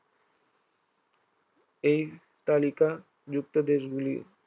এই তালিকাযুক্ত দেশগুলি